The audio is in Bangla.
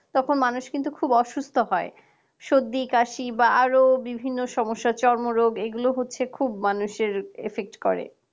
তখন মানুষ কিন্তু খুব অসুস্থ হয় সর্দি কাশি বা আরো বিভিন্ন সমস্যা চর্মরোগ এগুলো হচ্ছে খুব মানুষের effect করে